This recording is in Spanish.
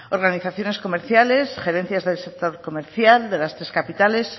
organizaciones comerciales gerencias del sector comercial de las tres capitales